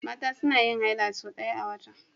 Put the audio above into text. Mata suna yin haila sau ɗaya a wata.